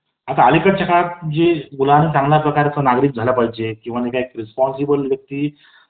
आता अलीकडच्या काळात मुलांनी चांगलया प्रकारचे नागरिक झालं पाहिजे , एक रेस्पॉन्सिबल व्यक्ती